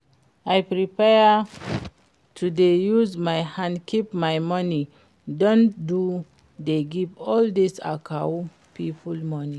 I prefer to dey use my hand keep my money than to dey give all dis akawo people money